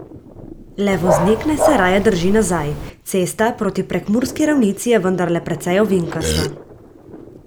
Le voznik naj se raje drži nazaj, cesta proti prekmurski ravnici je vendarle precej ovinkasta.